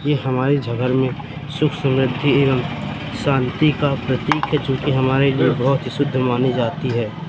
ये हमारे झ घर में सुख शांति एवं शांति का प्रतीक जो की हमारे लिए बहोत ही शुद्ध मानी जाती है।